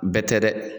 Bɛɛ tɛ dɛ